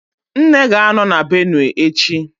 Nne ga-anọ na Benue echi